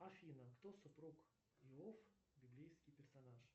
афина кто супруг иов библейский персонаж